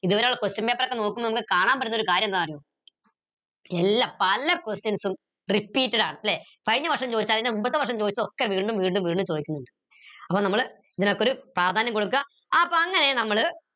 ഇതുവരെയുള്ള question paper ഒക്കെ നോക്കുമ്പോ നമുക്ക് കാണാൻ പറ്റുന്ന ഒരു കാര്യന്താന്ന് അറിയോ എല്ലാ പല questions ഉം repeated ആണ് ല്ലെ കഴിഞ്ഞ വർഷം ചോദിച്ചത് അതിന്റെ മുമ്പത്തെ വർഷം ചോദിച്ചത് ഒക്കെ വീണ്ടും വീണ്ടും വീണ്ടും ചോദിക്കുന്നിണ്ട് അപ്പൊ നമ്മൾ ഇതിനൊക്കൊരു പ്രാധാന്യം കൊടുക്ക അപ്പൊ അങ്ങനെ നമ്മൾ